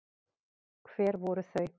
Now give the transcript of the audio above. Hver voru þau?